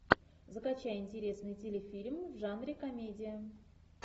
закачай интересный телефильм в жанре комедия